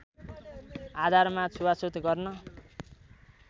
आधारमा छुवाछुत गर्न